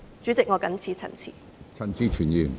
主席，我謹此陳辭。